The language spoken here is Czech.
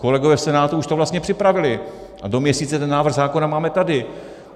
Kolegové v Senátu už to vlastně připravili a do měsíce ten návrh zákona máme tady.